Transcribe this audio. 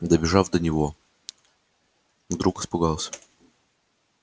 добежав до него вдруг испугался